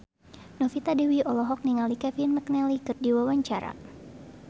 Novita Dewi olohok ningali Kevin McNally keur diwawancara